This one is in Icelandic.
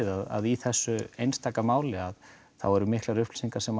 að í þessu einstaka máli þá eru miklar upplýsingar sem